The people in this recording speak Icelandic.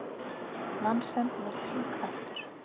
Nansen var tvíkvæntur.